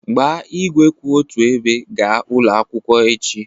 Gbaa igwe kwụ otu ebe gaa ụlọ akwụkwọ echi